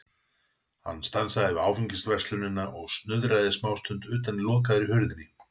Hann stansaði við Áfengisverslunina og snuðraði smástund utan í lokaðri hurðinni.